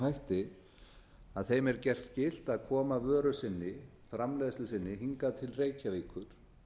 hætti á þeim er gert skylt að koma vöru sinni framleiðslu sinni hingað til reykjavíkur